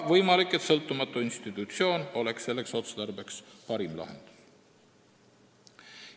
Võimalik, et sõltumatu institutsioon oleks selleks otstarbeks parim lahendus.